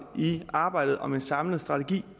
i arbejdet om en samlet strategi